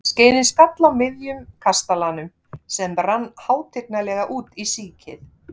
Skeiðin skall á miðjun kastalanum, sem rann hátignarlega út í síkið.